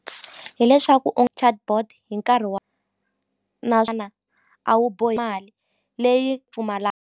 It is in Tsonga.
Hileswaku u chatbot hi nkarhi wa a wu bohi mali leyi .